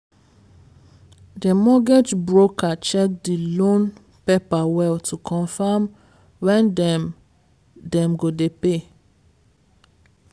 the mortgage broker check the loan paper well to confirm when dem dem go dey pay.